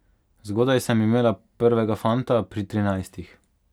Zgodaj sem imela prvega fanta, pri trinajstih.